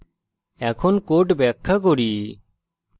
এখন code ব্যাখ্যা করি